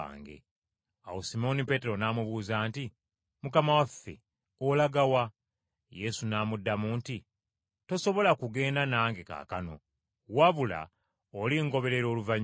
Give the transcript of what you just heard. Awo Simooni Peetero n’amubuuza nti, “Mukama waffe olaga wa?” Yesu n’amuddamu nti, “Tosobola kugenda nange kaakano, wabula olingoberera oluvannyuma.”